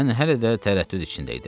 Mən hələ də tərəddüd içində idim.